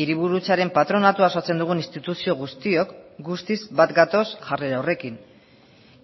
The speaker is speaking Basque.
hiriburutzaren patronatua osatzen dugun instituzio guztiok guztiz bat gatoz jarrera horrekin